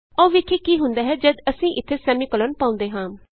ਆਉ ਵੇਖੀਏ ਕੀ ਹੁੰਦਾ ਹੈ ਜਦ ਅਸੀਂ ਇਥੇ ਸੈਮੀਕੋਲਨ ਪਾਉਂਦੇ ਹਾਂ